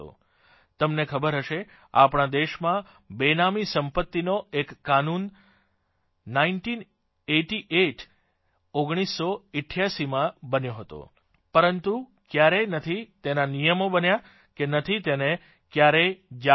તમને ખબર હશે આપણા દેશમાં બેનામી સંપત્તિનો એક કાનૂન નાઇન્ટીન એઇટી એઇટ ઓગણીસસો અઠ્ઠયાસીમાં બન્યો હતો પરંતુ કયારેય નથી તેના નિયમો બન્યા કે નથી તેને કયારેય જાહેર કરાયો